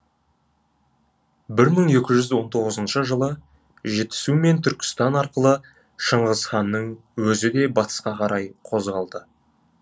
бір мың екі жүз он тоғызыншы жылы жетісу мен түркістан арқылы шыңғыс ханның өзі де батысқа қарай қозғалады